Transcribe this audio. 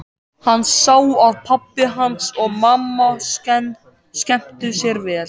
Hann sá að pabbi hans og mamma skemmtu sér vel.